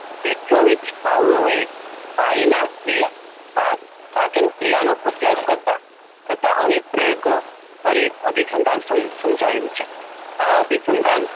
Petrovich Pavlov એ પાઈનાક્રિયા પા પાચનક્રિયાનો અભ્યાસ કરતા કરતા અનેક પ્રયોગો કરી અભિસંધાન સમ સમજાવ્યું છે. આ અભિસંધાન